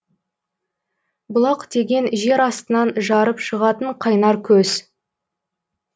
бұлақ деген жер астынан жарып шығатын қайнар көз